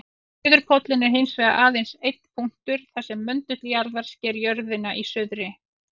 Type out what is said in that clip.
Suðurpóllinn er hins vegar aðeins einn punktur þar sem möndull jarðar sker jörðina í suðri.